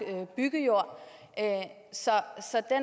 byggejord så